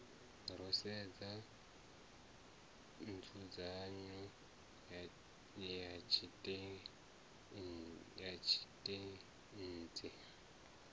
ro sedza nzudzanyo ya tshiteidzhi